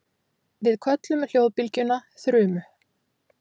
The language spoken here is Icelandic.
við köllum hljóðbylgjuna þrumu